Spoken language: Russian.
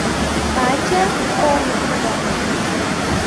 катя конасова